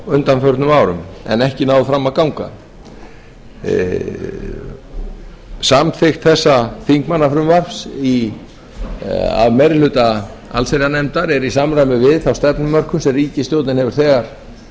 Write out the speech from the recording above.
undanfarin ár en ekki náð fram að ganga samþykkt þessa þingmannafrumvarps í meiri hluta allsherjarnefndar er í samræmi við þá stefnumörkun sem ríkisstjórnin hefur þegar